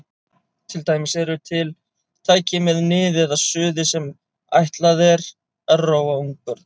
Til dæmis eru til tæki með nið eða suði sem ætlað er að róa ungbörn.